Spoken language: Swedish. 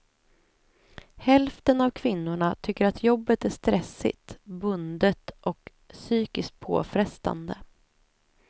Hälften av kvinnorna tycker att jobbet är stressigt, bundet och psykiskt påfrestande.